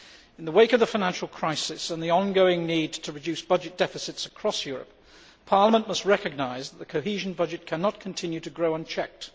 In the wake of the financial crisis and the ongoing need to reduce budget deficits across Europe, Parliament must recognise that the cohesion budget cannot continue to grow, unchecked.